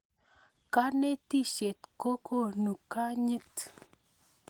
Kanetishet ko konu kanyit